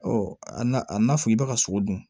a n'a fɔ i b'a ka sogo dun